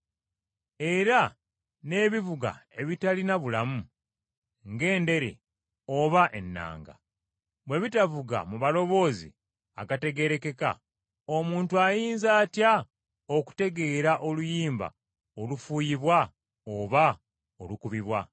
Era n’ebivuga ebitalina bulamu, ng’endere oba ennanga, bwe bitavuga mu maloboozi gategeerekeka, omuntu ayinza atya okutegeera oluyimba olufuuyibwa oba olukubibwa?